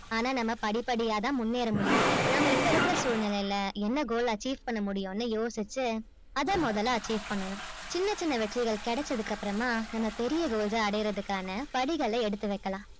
ஆன்னா நம்ம படி படியா தான் முன்னேற முடியும் நாம இப்ப இருக்குற சூழ்நிலையில என்ன goal achieve பண்ண முடியும் னு யோசிச்சு அதை முதல்ல achieve பண்ணனும் சின்ன சின்ன வெற்றிகள் கிடைச்சதுக்கு அப்புறமா நம்ம பெரிய goal ஆ அடையரதுக்கானா படிகளா எடுத்துவைக்கலாம்